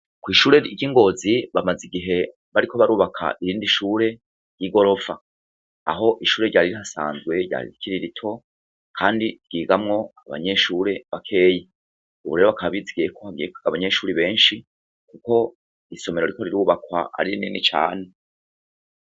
Kwishure ryingozi bamaze igihe bariko barubaka irindi shure yigorofa aho ishure ryari rihasanzwe ryari rikiri rito kandi ryigamwo abanyeshure bakeya ubu bagiye kwizigira ko bagiye kuronka abanyeshure benshi ko isomero riko rirubaka ari rinini cane